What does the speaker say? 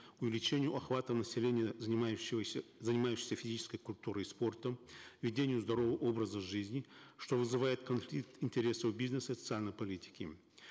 увеличению охвата населения занимающегося занимающихся физической культурой и спортом ведению здорового образа жизни что вызывает конфликт интересов бизнеса и социальной политики